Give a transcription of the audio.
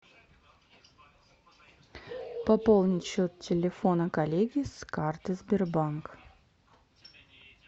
пополнить счет телефона коллеги с карты сбербанк